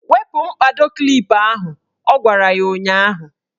Wepu mkpado klip ahụ! Ọ gwara ya ụnyaahụ.